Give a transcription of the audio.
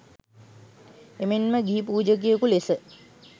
එමෙන්ම ගිහි පූජකයෙකු ලෙස